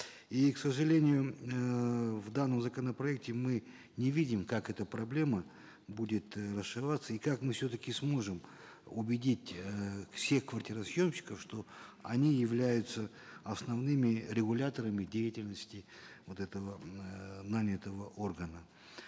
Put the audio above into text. и к сожалению эээ в данном законопроекте мы не видим как эта проблема будет и как мы все таки сможем убедить эээ всех квартиросъемщиков что они являются основными регуляторами деятельности вот этого эээ нанятого органа